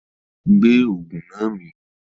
Gbé Ògùn náà mì!